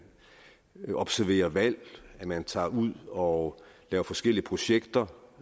observerer valg man tager ud og laver forskellige projekter